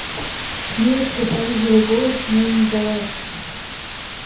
милочка понизила голос но не сдалась